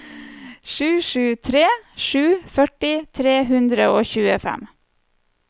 sju sju tre sju førti tre hundre og tjuefem